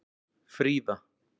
Fríða